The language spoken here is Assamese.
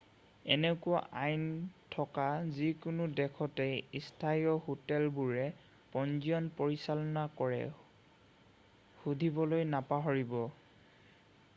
এনেকুৱা আইন থকা যিকোনো দেশতে স্থানীয় হোটেলবোৰে পঞ্জীয়ণ পৰিচালনা কৰে সুধিবলৈ নাপাহৰিব।